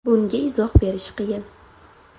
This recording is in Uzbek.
Bunga izoh berish qiyin.